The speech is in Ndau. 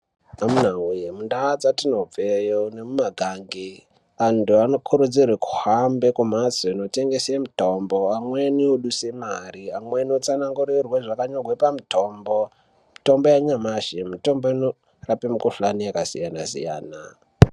Mundau dzatinobveyo nemumakange antu anokurudzirwe kuhambe kumhatsi kutengese mutombo amweni oduse mare amwrni otsanangurirwe zvakanyorwe pamutombo mitombo yanyamashi mitombo inorape mikhuhlani yakasiyana siyana.